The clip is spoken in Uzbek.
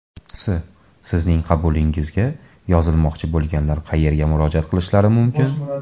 S: Sizning qabulingizga yozilmoqchi bo‘lganlar qayerga murojaat qilishlari mumkin?